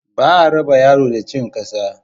Ba a raba yaro da cin ƙasa.